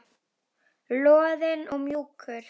Loðinn og mjúkur.